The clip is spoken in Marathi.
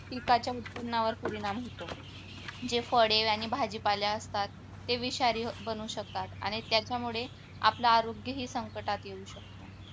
पिकाच्या उत्पन्नावर परिणाम होतो जे फळे आणि भाजीपाले असतात ते विषारी बनू शकतात आणि त्याच्यामुळे आपलं आरोग्य ही संकटात येऊ शकते